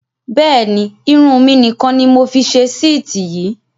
Bẹ́ẹ̀ni, Irun mi nì kan ni mọ fi ṣe síítì yìí